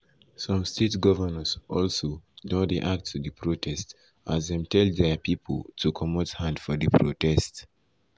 some state govnors also don react to di protest as dem tell dia pipo to comot hand for di protest.